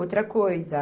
Outra coisa